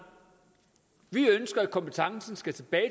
vi ønsker at kompetencen skal tilbage